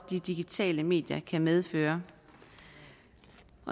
de digitale medier kan medføre